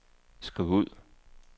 skriv ud